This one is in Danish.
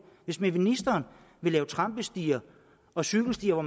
hvis ministeren vil lave trampestier og cykelstier hvor